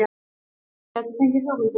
Aðrir gætu fengið hugmyndir